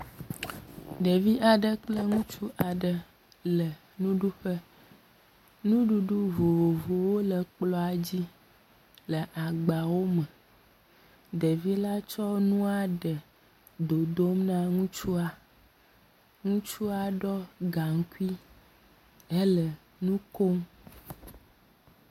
Ɖevi aɖe kple ŋutsu aɖe nuɖuƒe. Nuɖuɖu vovovowo le kplɔa dzi le agbawo me. Ɖevi la tsɔ nua ɖe le dododm na ŋutsua. Ŋutsua ɖɔ gaŋkui hele nu kom.